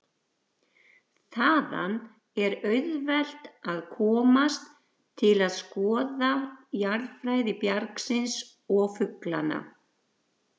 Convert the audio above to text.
Þaðan er auðvelt að komast til að skoða jarðfræði bjargsins og fuglana.